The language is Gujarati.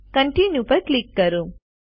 કોન્ટિન્યુ પર ક્લિક કરો